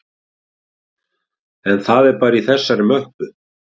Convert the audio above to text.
En það er bara í þessari möppu